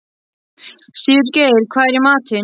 Sigurgeir, hvað er í matinn?